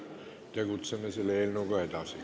Kohaloleku kontroll, palun!